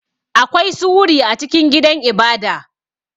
Akwai su wuri a cikin gidan ibada.